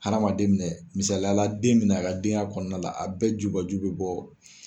Hadamaden minɛn misaliyala den minɛ a ka den ya kɔnɔna na a bɛɛ jubaju be bɔ.